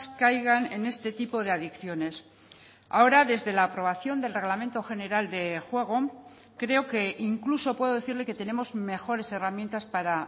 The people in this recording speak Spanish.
caigan en este tipo de adicciones ahora desde la aprobación del reglamento general de juego creo que incluso puedo decirle que tenemos mejores herramientas para